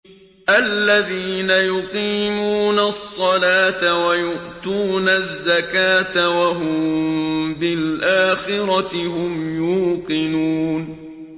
الَّذِينَ يُقِيمُونَ الصَّلَاةَ وَيُؤْتُونَ الزَّكَاةَ وَهُم بِالْآخِرَةِ هُمْ يُوقِنُونَ